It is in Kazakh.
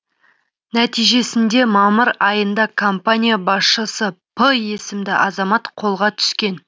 нәтижесінде мамыр айында компания басшысы п есімді азамат қолға түскен